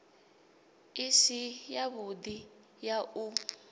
i si yavhudi ya u